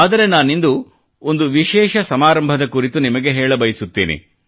ಆದರೆ ನಾನಿಂದು ಒಂದು ವಿಶೇಷ ಸಮಾರಂಭದ ಕುರಿತು ನಿಮಗೆ ಹೇಳಬಯಸುತ್ತೇನೆ